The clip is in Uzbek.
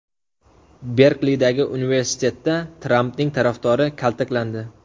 Berklidagi universitetda Trampning tarafdori kaltaklandi.